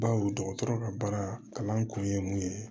Bawo dɔgɔtɔrɔ ka baara kalan kun ye mun ye